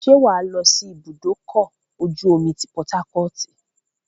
ṣé wàá lọ́ sí ibùdókọ̀-ojú-omi ti Pọtákọ́ọ̀tì?